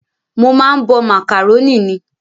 Mo máa ń bọ màkàrónì ni